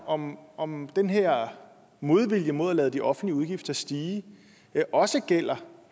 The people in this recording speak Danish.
om om den her modvilje mod at lade de offentlige udgifter stige også gælder